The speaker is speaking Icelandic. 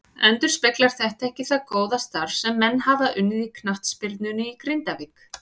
Endurspeglar þetta ekki það góða starf sem menn hafa unnið í knattspyrnunni í Grindavík.